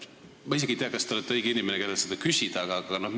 Ma isegi ei tea, kas te olete õige inimene, kelle käest seda küsida, aga siiski.